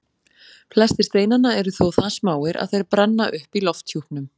Flestir steinanna eru þó það smáir að þeir brenna upp í lofthjúpnum.